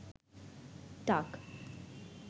টাক